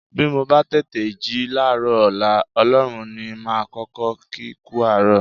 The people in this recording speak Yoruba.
Bí mo bá tètè jí láàárọ̀ ọ̀la, Ọlọ́run ní màá kọ́kọ́ kí kú àárọ̀